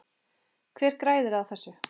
Hver græðir á þessu?